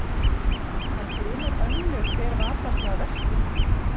En grunar Önnu hver var þarna að verki?